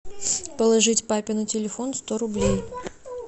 положить папе на телефон сто рублей